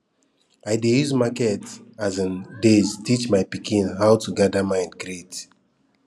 i dey use market um days teach my pikin how to gather mind greet